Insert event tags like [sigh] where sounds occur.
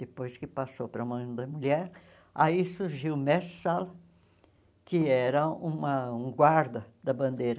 Depois que passou para a [unintelligible] da mulher, aí surgiu o mestre Sala, que era uma um guarda da bandeira.